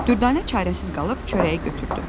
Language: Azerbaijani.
Dürdanə çarəsiz qalıb çörəyi götürdü.